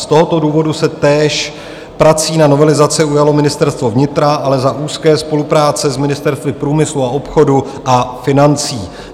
Z tohoto důvodu se též prací na novelizaci ujalo Ministerstvo vnitra, ale za úzké spolupráce s Ministerstvy průmyslu a obchodu a financí.